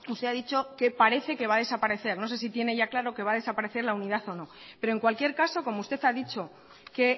usted ha dicho que parece que va a desaparecer no sé si tiene ya claro que va a desaparecer la unidad o no pero en cualquier caso como usted ha dicho que